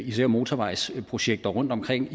især motorvejsprojekter rundt omkring